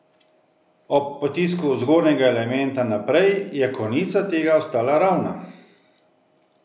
Ob potisku zgornjega elementa naprej je konica tega ostala ravna.